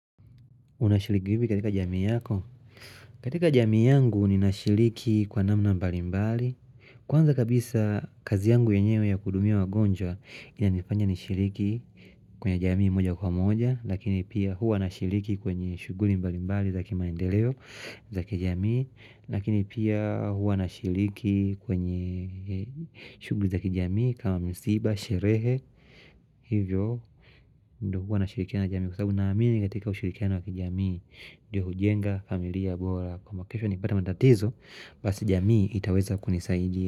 Unashiliki hivi katika jamii yako? Katika jamii yangu ni nashiliki kwa namna mbali mbali. Kwanza kabisa kazi yangu yenyewe ya kuhudumia wagonjwa ina nifanya nishiriki kwenye jamii moja kwa moja. Lakini pia huwa nashiriki kwenye shuguli mbali mbali zaki maendeleo zaki jamii. Lakini pia huwa nashiriki kwenye shuguli za kijamii kama msiba, sherehe. Hivyo hivyo ndo huwa nashirikiana jamii. Kwa sababu naamini katika ushirikiana wa kijamii Ndiyo hujenga, familia, bora, kwamba kesho nikipata matatizo, basi jamii itaweza kunisaidia.